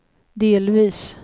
delvis